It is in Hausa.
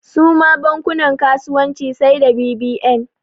Suma bankunan kasuwanci sai da bbn